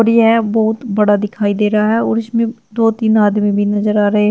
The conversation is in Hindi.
यह बहुत बड़ा दिखाई दे रहा है और उसमें दो तीन आदमी नजर आ रहे हैं।